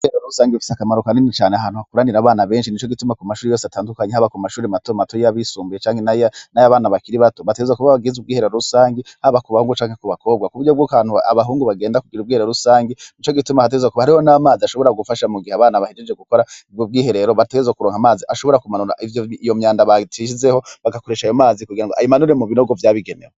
Abakobwa batatu bokwiriseyo mu ngagara babatumye gukora ibikorwa rusange baraheza bararima hanyuma barakura uducafu bahejeje baciye bafata agasa namu.